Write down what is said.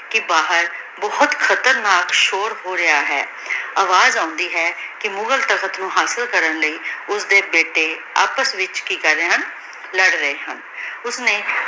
ਕੇ ਬਹਿਰ ਬੋਹਤ ਖਤਰਨਾਕ ਸ਼ੋਰ ਹੋ ਰਯ ਹੈ ਅਵਾਜ਼ ਆਉਂਦੀ ਹੈ ਕੀ ਮੁਘਾਲ ਤਖ਼ਤ ਨੂ ਹਾਸਿਲ ਕਰਨ ਲੈ ਉਸਦੀ ਬੇਟੀ ਆਪਸ ਵਿਚ ਕੀ ਕਰ ਰਹੀ ਹਨ ਲਾਰ ਰਹੀ ਹਨ ਓਸ੍ਨੀ